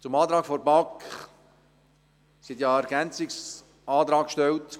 Zum Antrag der BaK: Diese hat ja einen Ergänzungsantrag gestellt: